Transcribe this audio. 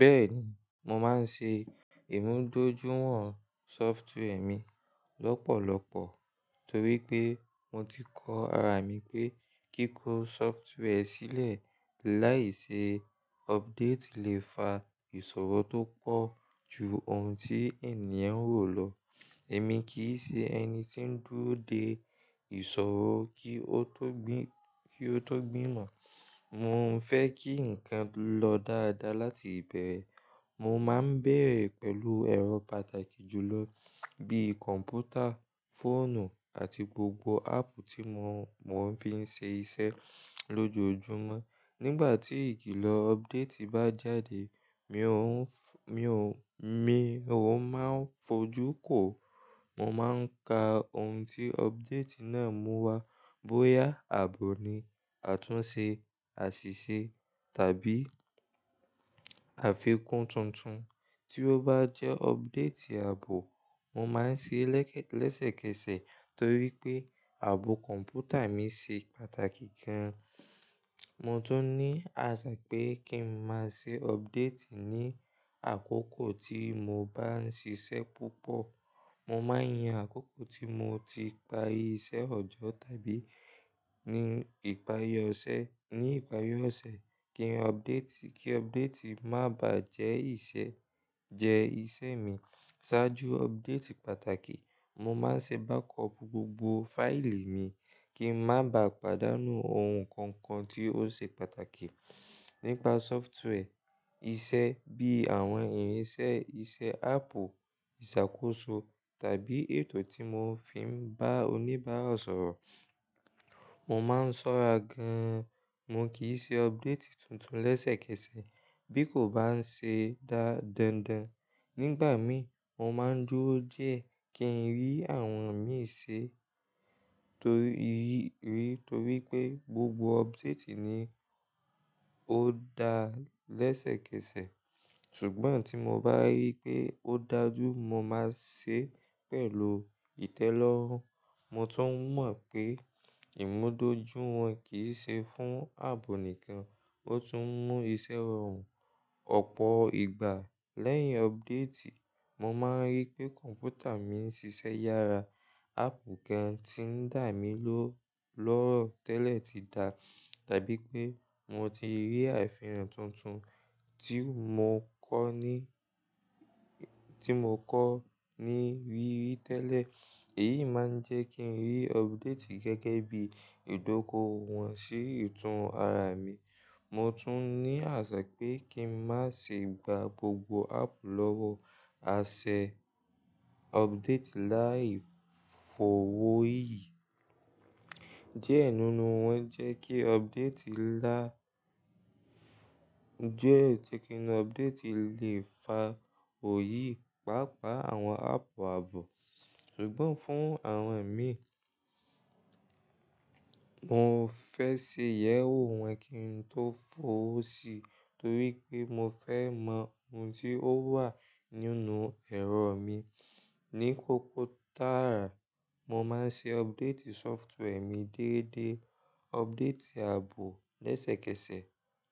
Bẹ́ẹ̀ni, mo máa ń ṣe ìmúdójúwọ̀n software mi lọ́pọ̀lọpọ̀ torí pé mo ti kọ ara mi pé kíkó software sílẹ̀ láì ṣe ọbdéètì lè fa ìṣòro tó pọ̀ ju ohun tí ènìyàn rò lọ. Èmi kìí ṣe ẹni tí ń dúró de ìṣòro kí ó tó gbìmo. Mo ń fẹ́ kí ǹkan lọ dáadáa láti ìbẹ̀rẹ̀. Mo máa ń bẹ̀rẹ̀ pẹ̀lú ẹ̀rọ pàtàkì jùlọ bí kọ̀ǹpútà, fóònù àti gbogbo áàpù tí mo fi ń ṣe iṣẹ́ lójoojúmọ́. Nígbà tí ìkìlọ̀ ọbdéètì bá jáde, mi ò máa ń fojú kó. Mo máa ń ka ohun tí ọbdéètì náà mú wá bóyá ààbò ni, àtúnṣe, àṣìṣe tàbí àfikún tuntun. Tí ó bá jẹ́ ọbdéètì ààbò, mo máa ń ṣe lẹ́sẹ̀kẹsẹ̀ torí pé ààbò kọ̀ǹpútà mi ṣe pàtàkì gan. Mo tún ní àṣà pé kí n máa ṣe ọbdéètì ní àkókò tí mo bá ń ṣiṣẹ́ púpọ̀. Mo máa ń yan àkókò tí mo ti parí iṣẹ́ ọjọ́ tàbí ní ìparí ọ̀sẹ̀ kí ọbdéètì má bàá jẹ́ ìṣe mi. Sáájú ọbdéètì pàtàkì, mo máa ń ṣe bákọọ̀pù gbogbo fáìlì mi kí n má bà á pàdánù ohun kankan tí ó ṣe pàtàkì nípa sọfituweẹ, iṣẹ́ bí àwọn ìrínisẹ́ iṣẹ́ áàpù, ìṣàkóso tàbí ètò tí mo fi ń bá oníbàárà sọ̀rọ̀. Mo máa ń ṣọ́ra gan, mo kì í ṣe ọbdéètì tuntun lẹ́sẹ̀kẹsẹ̀ bí kò bá ń ṣe dáńdán. Nígbàmii, mo máa ń dúró dié kí n rí àwọn miran ṣe torí pé gbogbo ọbdéètì ni ò dá lẹ́sẹ̀kẹsẹ̀. Ṣùgbọ́n tí mo bá ríi pé ó dájú, mo máa ṣe é pẹ̀lú ìtẹ́lọ́rùn. Mo tún mọ̀ pé ìmúdójúiwọ̀n kì í ṣe fún áàbò nìkan, ó tún mú iṣẹ́ rọrùn. Ọ̀pọ̀ ìgbà lẹ́yìn ọbdéètì, mo máa ń rí pé kọ̀ǹpútà mi ń ṣiṣẹ́ yára, áàpù gan tí ń dà mí loro tẹ́lẹ̀ ti dà tàbí pé mo ti rí àfihàn tuntun tí mo kọ́ ní rí rí tẹ́lẹ̀. Èyí máa ń jẹ́ kí n rí updéètì gẹ́gẹ́ bí ìdókòwò wọn sí ìtùnú ara mi. Mo tún ní àṣà pé kí n má ṣe gba gbogbo áàpù lọ́wọ́ àṣẹ updéètì láì f'ọwọ́ yí. Diẹ nínú wọn jẹ́ kí updéètì lè fa òyì páápàá àwọn áàpù ààbò. Ṣùgbọ́n fún àwọn ẹ̀mí, mo fẹ́ ṣe ìyẹ́wò wọn kí n tó f'ọwọ́ sí torí pé mo fẹ́ mọ ohun tí ó wà nínú ẹ̀rọ mi. Ni kọkòtààrà, mo máa ń ṣe updéètì sọfituweẹ mi déédé, uldéètì ààbò lẹ́sẹ̀kẹsẹ̀,